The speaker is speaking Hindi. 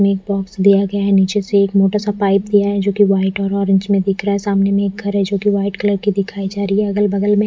मिट बॉक्स दिया गया है निचे से एक मोटा सा पाइप दिया है जोकि वाईट और ओरेंज में दिख रहा है सामने में एक घर है जोकि वाईट कलर की दिखाई जा रही है अगल बगल में--